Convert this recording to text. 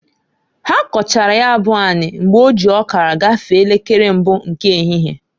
Ha kọchara ya bụ ani mgbe oji ọkara gafee elekere mbụ nke ehihie.